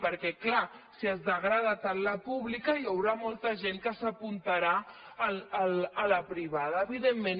perquè clar si es degrada tant la pública hi haurà molta gent que s’apuntarà a la privada evidentment